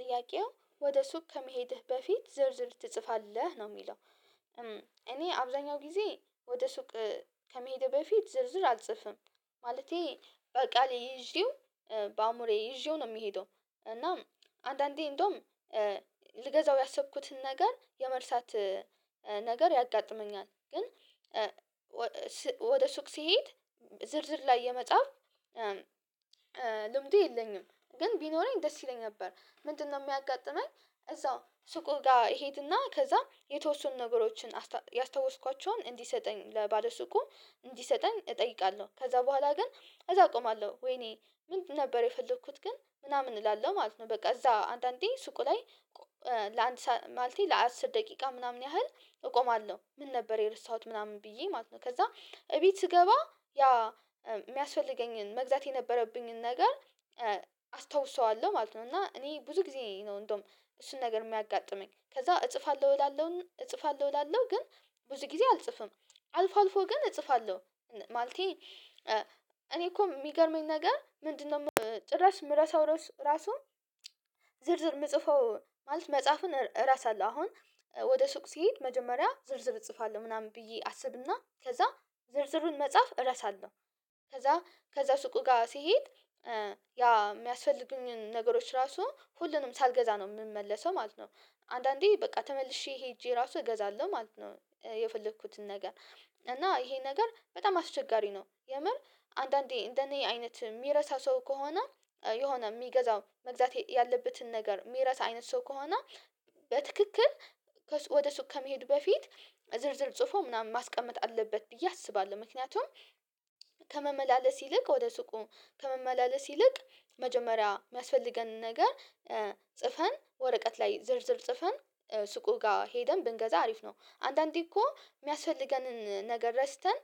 ጥያቄው፥ ወደ ሱቅ ከመሄድህ በፊት ዝርዝር ትጽፋለህ? ነው የሚለው። እኔ አብዛኛው ጊዜ ወደ ሱቅ ከመሄዴ በፊት ዝርዝር አልጽፍም። ማለቴ በቃሌ ይዤው በአእምሮዬ ይዤው ነው የምሄደው። እና አንዳንዴ እንደውም ልገዛው ያሰብኩትን ነገር የመርሳት ነገር ያጋጥመኛል ግን ወደ ሱቅ ስሄድ ዝርዝር ላይ የመጻፍ ልምዱ የለኝም። ግን ቢኖረኝ ደስ ይለኝ ነበር። ምንድነው የሚያጋጥመኝ? እዛው ሱቁ ጋ እሄድና ከዛ የተወሰኑ ነገሮችን ያስታወስኳቸውን እንዲሰጠኝ ለባለ ሱቁ እንዲሰጠኝ እጠይቃለሁ። ከዛ በኋላ ግን እዛ እቆማለሁ። ወይኔ ምንድን ነበር የፈለኩት ግን ምናምን እላለሁ ማለት ነው። በቃ እዛ አንዳንዴ ሱቁ ላይ ለአንድ ማለቴ ለአስር ደቂቃ ምናምን ያህል እቆማለሁ። ምን ነበር የረሳሁት ምናምን ብዬ ማለት ነው። ከዛ እቤት ስገባ ያ የሚያስፈልገኝን መግዛት የነበረብኝን ነገር አስታውሰዋለሁ ማለት ነው። እና እኔ ብዙ ጊዜ ነው እንደውም እሱን ነገር የሚያጋጥመኝ። ከዛ እጽፋለሁ እላለሁ እጽፋለሁ እላለሁ ግን ብዙ ጊዜ አልጽፍም። አልፎ አልፎ ግን እጽፋለሁ ማለቴ እኔ እኮ ሚገርመኝ ነገር ምንድነው፥ ጭራሽ ምረሳው ራሱ ዝርዝር ምጽፈው ማለት መጻፍን እረሳለሁ። አሁን ወደ ሱቅ ስሄድ መጀመሪያ ዝርዝር እጽፋለሁ ምናምን ብዬ አስብና ከዛ ዝርዝሩን መጻፍ እረሳለሁ። ከዛ ከዛ ሱቁ ጋ ስሄድ ያ ሚያስፈልጉኝን ነገሮች ራሱ ሁሉንም ሳልገዛ ነው ምመለሰው ማለት ነው። አንዳንዴ በቃ ተመልሼ ሄጄ ራሱ እገዛለሁ ማለት ነው። የፈለኩትን ነገር እና ይሄ ነገር በጣም አስቸጋሪ ነው። የምር አንዳንዴ እንደኔ አይነት ሚረሳ ሰው ከሆነ የሆነ ሚገዛውን መግዛት ያለበትን ነገር ሚረሳ አይነት ሰው ከሆነ፥ በትክክል ወደ ሱቅ ከመሄዱ በፊት ዝርዝር ጽፎ ምናምን ማስቀመጥ አለበት ብዬ አስባለሁ። ምክንያቱም ከመመላለስ ይልቅ ወደ ሱቁ ከመመላለስ ይልቅ፥ መጀመሪያ የሚያስፈልገንን ነገር ጽፈን ወረቀት ላይ ዝርዝር ጽፈን ሱቁ ጋ ሄደን ብንገዛ አሪፍ ነው። አንዳንዴ እኮ ሚያስፈልገንን ነገር ረስተን